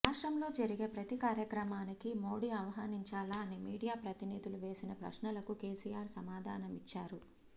రాష్ట్రంలో జరిగే ప్రతి కార్యక్రమానికి మోడీ ఆహ్వానించాలా అని మీడియా ప్రతినిధులు వేసిన ప్రశ్నలకు కేసీఆర్ సమాధానామిచ్చారు